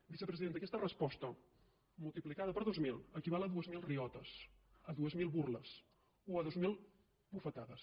vicepresidenta aquesta resposta multiplicada per dos mil equival a dues mil riotes a dues mil burles o a dues mil bufetades